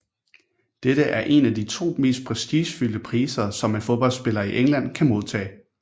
Dette er en af de to mest prestigefyldte priser som en fodboldspiller i England kan modtage